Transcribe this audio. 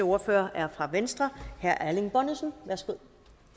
ordfører er fra venstre herre erling bonnesen værsgo